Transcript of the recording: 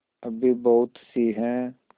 अभी बहुतसी हैं